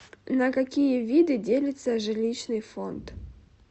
на какие виды делится жилищный фонд